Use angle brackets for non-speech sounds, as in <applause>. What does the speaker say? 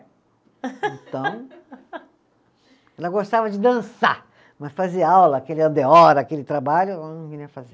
<laughs> Então, ela gostava de dançar, mas fazer aula, aquele, <unintelligible> aquele trabalho, ela não queria fazer.